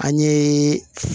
An ye